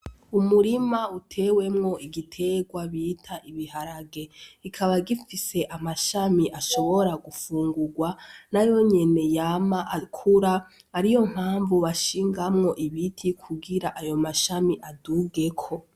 Umurima utewemwo igiterwa bita ibiharage, kikaba gifise amashami ashobora gufungurwa nayo nyene yama akura ariyo mpanvu bashingamwo ibiti kugira ayo mashami adugeko.